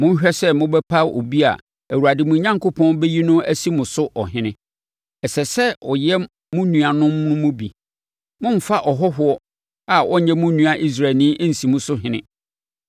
monhwɛ sɛ mobɛpa obi a Awurade mo Onyankopɔn bɛyi no asi mo so ɔhene. Ɛsɛ sɛ ɔyɛ mo nuanom no mu bi. Mommfa ɔhɔhoɔ a ɔnyɛ mo nua Israelni nsi mo so ɔhene.